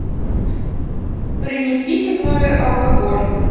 принесите в номер алкоголь